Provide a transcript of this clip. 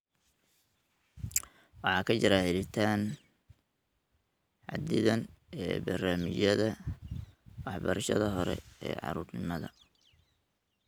Waxaa ka jira helitaan xadidan ee barnaamijyada waxbarashada hore ee carruurnimada.